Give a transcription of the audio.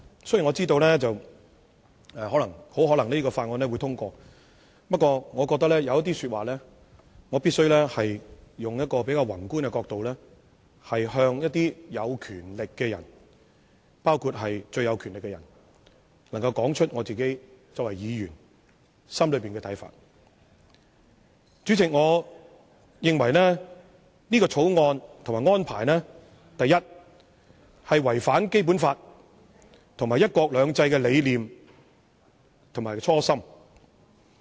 雖然我知道《條例草案》很可能會獲得通過，但我作為議員，必須以比較宏觀的角度向一些有權力的人說出我心中的看法。第一，我認為《條例草案》和有關安排違反《基本法》及"一國兩制"的理念和初心。